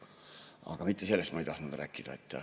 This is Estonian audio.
Aga mitte sellest ei tahtnud ma rääkida.